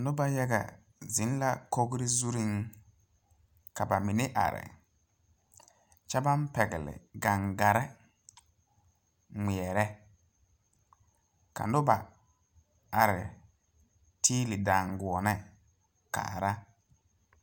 Nobɔ yaga zeŋ la kogre zureŋ ka ba mine are kyɛ baŋ pɛgle gaŋgarre ngmeɛrɛ ka nobɔ are tiili daanguone kaara.